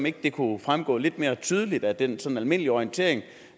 ikke kunne fremgå lidt mere tydeligt af den sådan almindelige orientering